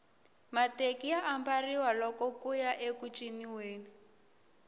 mateki ya ambariwa loko kuya eku ciniweni